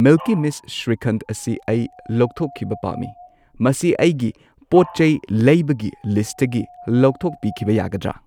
ꯃꯤꯜꯀꯤ ꯃꯤꯁꯠ ꯁ꯭ꯔꯤꯈꯟꯗ ꯑꯁꯤ ꯑꯩ ꯂꯧꯊꯣꯛꯈꯤꯕ ꯄꯥꯝꯃꯤ, ꯃꯁꯤ ꯑꯩꯒꯤ ꯄꯣꯠꯆꯩ ꯂꯩꯕꯒꯤ ꯂꯤꯁꯠꯇꯒꯤ ꯂꯧꯊꯣꯛꯄꯤꯈꯤꯕ ꯌꯥꯒꯗ꯭ꯔ?